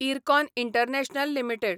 IRCON international limited